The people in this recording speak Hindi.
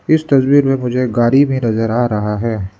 इस तस्वीर में मुझे एक गाड़ी भी नजर आ रहा है।